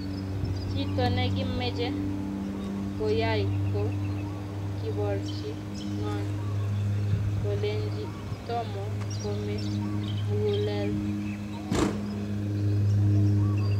Kito nekimeche koyay ko kuborchu ngong kolenji toma kome mugulel.